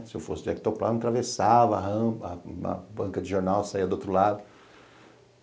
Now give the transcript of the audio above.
Se eu fosse de Ectoplasma, atravessava a rampa, a banca de jornal saia do outro lado.